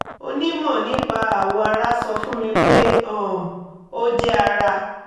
onímọ̀ nípa awọ ara sọ fún mi pé um ó jẹ́ ara